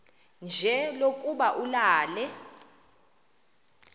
nje lokuba ulale